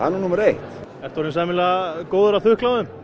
er númer eitt ertu orðinn sæmilega góður að þukla á þeim